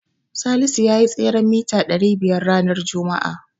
Salisu yayi tseren mita ɗari biyar ranar juma'a.